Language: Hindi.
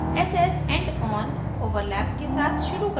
अब ss endon overlap के साथ शुरू करें